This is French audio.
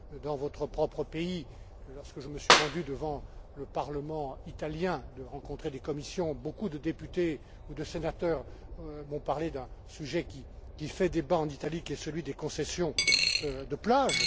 Dans votre propre pays, lorsque je me suis rendu devant le parlement italien, où j'ai rencontré des commissions, beaucoup de députés ou de sénateurs m'ont parlé d'un sujet qui fait débat en Italie, qui est celui des concessions de plage.